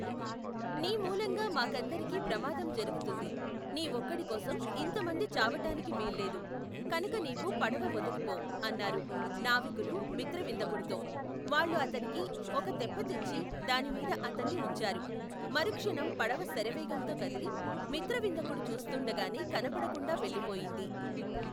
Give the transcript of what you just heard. నీ మూలంగా మాకందరికీ ప్రమాదం జరుగుతుంది. నీ ఒక్కడికోసం ఇంత మంది చావటానికి వీల్లేదు. కనక నీవు పడవ వదిలి పో! అన్నారు నావికులు మిత్రవిందకుడితో. వాళ్ళు అతనికి ఒక తెప్పతెచ్చి దానిమీద అతన్ని ఉంచారు. మరుక్షణం పడవ శరవేగంతో కదలి, మిత్రవిందకుడు చూస్తూండగానే కనపడకుండా వెళ్ళిపోయింది.